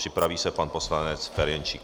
Připraví se pan poslanec Ferjenčík.